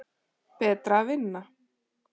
Betra að vinna.